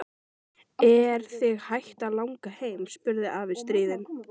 Er þig hætt að langa heim? spurði afi stríðinn.